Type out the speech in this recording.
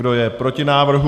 Kdo je proti návrhu?